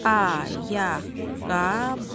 Ayaqqabı.